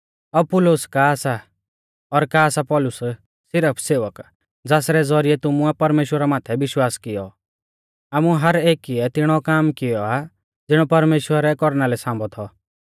अपुल्लोस का सा और का सा पौलुस सिरफ सेवक ज़ासरै ज़ौरिऐ तुमुऐ परमेश्‍वरा माथै विश्वास कियौ आमु हर एकीऐ तिणौ काम कियौ आ ज़िणौ परमेश्‍वरै कौरना लै सांभौ थौ